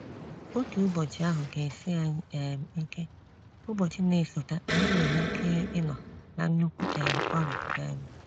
Otu Ụbọchị ahụ ga esi anyị um ike, ụbọchị n'esote anyị nwere ike inọ na nnukwu um ọrịa. um